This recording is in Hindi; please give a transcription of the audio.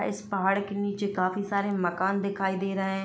इस पहाड़ के नीचे काफी सारे मकान दिखाई दे रहे हैं।